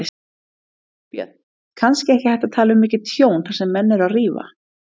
Björn: Kannski ekki hægt að tala um mikið tjón þar sem menn eru að rífa?